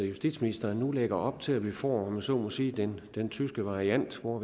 justitsministeren nu lægger op til at vi får om jeg så må sige den tyske variant hvor